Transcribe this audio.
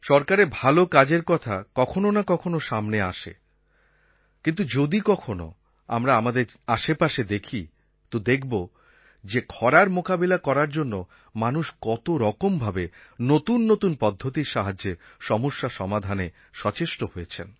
সরকারের ভালো কাজের কথা কখনও না কখনও সামনে আসে কিন্তু যদি কখনো আমরা আমাদের আশেপাশে দেখি তো দেখব যে খরার মোকাবিলা করার জন্য মানুষ কতরকম ভাবে নতুন নতুন পদ্ধতির সাহায্যে সমস্যা সমাধানে সচেষ্ট হয়েছেন